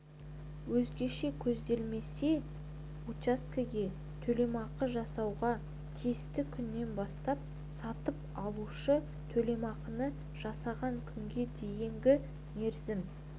өзгеше көзделмесе учаскеге төлемақы жасалуға тиісті күннен бастап сатып алушы төлемақыны жасаған күнге дейінгі мерзім